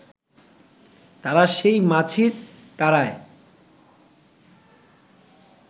তারা সেই মাছি তাড়ায়